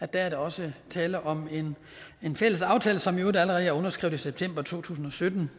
der er der også tale om en fælles aftale som i øvrigt allerede er underskrevet i september to tusind og sytten